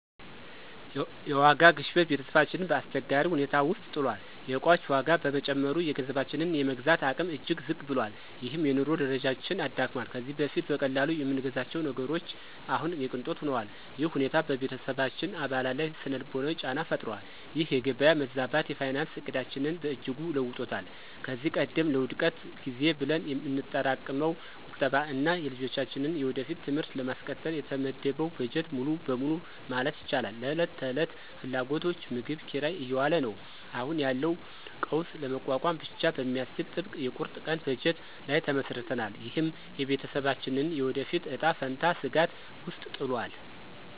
የዋጋ ግሽበት ቤተሰባችንን በአስቸጋሪ ሁኔታ ውስጥ ጥሏል። የዕቃዎች ዋጋ በመጨመሩ፣ የገንዘባችን የመግዛት አቅም እጅግ ዝቅ ብሏል፤ ይህም የኑሮ ደረጃችንን አዳክሟል። ከዚህ በፊት በቀላሉ የምንገዛቸው ነገሮች አሁን የቅንጦት ሆነዋል። ይህ ሁኔታ በቤተሰባችን አባላት ላይ ሥነ-ልቦናዊ ጫና ፈጥሯል። ይህ የገበያ መዛባት የፋይናንስ ዕቅዳችንን በእጅጉ ለውጦታል። ከዚህ ቀደም ለውድቀት ጊዜ ብለን የምናጠራቅመው ቁጠባ እና የልጆቻችንን የወደፊት ትምህርት ለማስቀጠል የተመደበው በጀት ሙሉ በሙሉ ማለት ይቻላል ለዕለት ተዕለት ፍላጎቶች (ምግብ፣ ኪራይ) እየዋለ ነው። አሁን ያለውን ቀውስ ለመቋቋም ብቻ በሚያስችል ጥብቅ የቁርጥ ቀን በጀት ላይ ተመስርተናል። ይህም የቤተሰባችንን የወደፊት እጣ ፈንታ ስጋት ውስጥ ጥሏል።